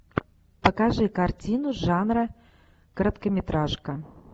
покажи картину жанра короткометражка